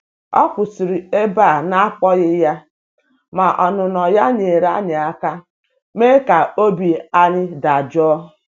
Ọ kwụsịrị ebe a na akpọghị ya, ma ọnụnọ ya nyeere anyị aka me ka obi ayi dajụọ.